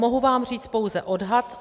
Mohu vám říct pouze odhad.